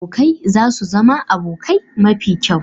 Abokai za su zama abokai mafi kyau.